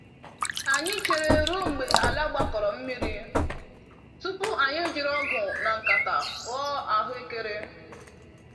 Anyị chere ruo mgbe ala gbakọrọ mmiri tupu anyị ejiri ọgụ na nkata ghọọ ahụekere.